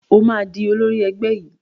Ó máa di olórí ẹgbẹ́ yìí.